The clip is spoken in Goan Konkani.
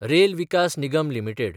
rail Vikas Nigam limited